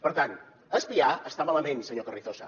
per tant espiar està malament senyor carrizosa